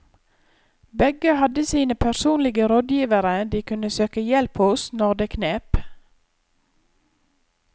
Begge hadde sine personlige rådgivere de kunne søke hjelp hos når det knep.